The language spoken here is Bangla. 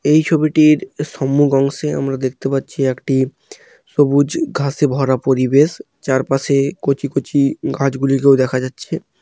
এই ছবিটির সম্মুখ অংশে আমরা দেখতে পাচ্ছি একটি সবুজ ঘাসে ভরা পরিবেশ চারপাশে কচি কচি গাছগুলি কেউ দেখা যাচ্ছে।